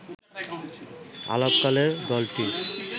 আলাপকালে দলটির